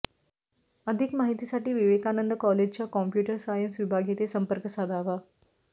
अधिक माहितीसाठी विवेकानंद कॉलेजच्या कॉम्प्युटर सायन्स विभाग येथे संपर्क साधावा